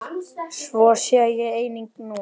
Svo sé einnig nú.